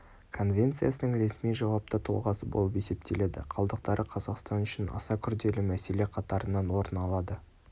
конвенциясының ресми жауапты тұлғасы болып есептеледі қалдықтары қазақстан үшін аса күрделі мәселе қатарынан орын алады